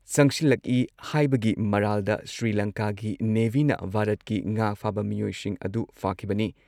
ꯆꯪꯁꯤꯜꯂꯛꯢ ꯍꯥꯢꯕꯒꯤ ꯃꯔꯥꯜꯗ ꯁ꯭ꯔꯤꯂꯪꯀꯥꯒꯤ ꯅꯦꯚꯤꯅ ꯚꯥꯔꯠꯀꯤ ꯉꯥ ꯐꯥꯕ ꯃꯤꯑꯣꯏꯁꯤꯡ ꯑꯗꯨ ꯐꯥꯈꯤꯕꯅꯤ ꯫